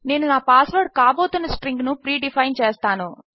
నేను నా password కాబోతున్న స్ట్రింగ్ ను ప్రీడిఫైన్ చేస్తాను